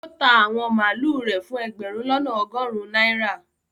ó ta àwọn màlúù rẹ̀ fún ẹgbẹ̀rún lọ́nà ọgọrun náírà